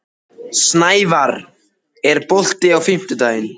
Snævarr, er bolti á fimmtudaginn?